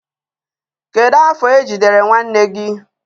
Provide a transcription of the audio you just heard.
Kedu afọ ejidere nwanne gị.